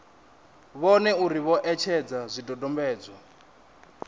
vhone uri vho etshedza zwidodombedzwa